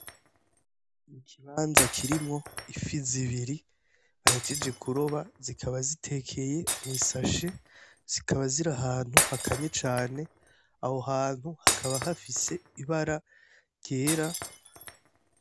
Ikibanza kirimwo ifi zibiri bahejeje kuroba, zikaba zitekeye mw'isashe. Zikaba ziri ahantu hakanye cane, aho hantu hakaba hafise ibara ryera.